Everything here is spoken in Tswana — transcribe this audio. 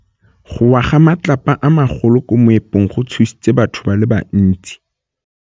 Go wa ga matlapa a magolo ko moepong go tshositse batho ba le bantsi.